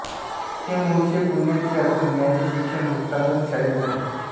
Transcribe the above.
हे मूळचे पुण्याचे असून यांचे शिक्षण मुक्तांगण शाळेत झाले